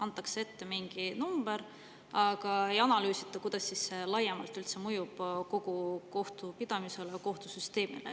Antakse ette mingi number, aga ei analüüsita, kuidas see laiemalt üldse mõjub kogu kohtupidamisele või kohtusüsteemile.